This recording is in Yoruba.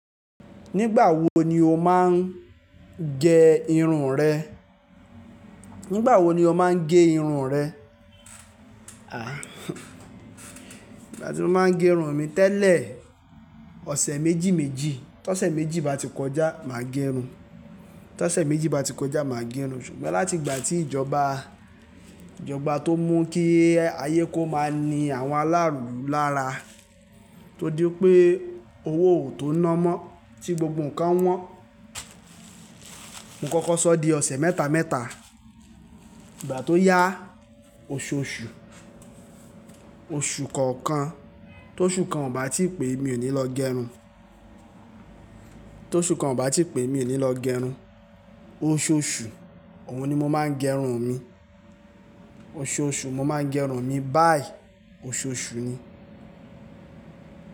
Nígbà wo ni o máa ń gẹ irun rẹ? Nígbà wo ni o máa ń gé irun rẹ? Igbà tí mo máa ń gé irun mi tẹ́lẹ̀, ọ̀sẹ̀ méjì méjì, tọ̀sẹ̀ méjì bá ti kọjá, màá gẹ irun. Tọ̀sẹ̀ méjì bá ti kọjá, màá gẹ irun. Ṣùgbọ́n láti ìgbà tí ìjọba, ìjọba tó mú kí ayé kó máa ní àwọn ara ilu lára, tó dí pé owó ò tó ná mọ́ tí gbogbo ǹkan wọ́n, mo kọ́kọ́ sọ di ọ̀sẹ̀ mẹ́ta mẹ́ta. Ìgbà tó yá, oṣooṣù, oṣù kọ̀ọ̀kan, tó oṣù kan ò bá tíì pé, mi ò ní lọ gẹ irun. Tó oṣù kan ò bá tíì pé, mi ò ní lọ gẹ irun. Oṣooṣù, òun ni mo máa ń gẹ irun mi. Oṣooṣù mo máa ń gẹ irun mi, báyìí oṣooṣù ni.